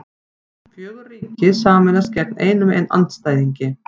Fjögur ríki sameinast gegn einum andstæðingi